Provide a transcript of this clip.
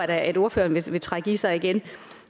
da at ordføreren vil trække i sig igen